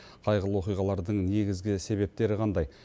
қайғылы оқиғалардың негізгі себептері қандай